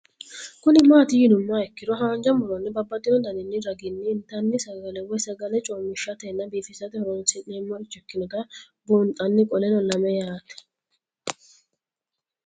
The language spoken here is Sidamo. Kuni mati yinumoha ikiro hanja muroni babaxino daninina ragini intani sagale woyi sagali comishatenna bifisate horonsine'morich ikinota bunxana qoleno lame yaate